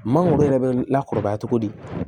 Mangoro yɛrɛ bɛ lakɔrɔba togo di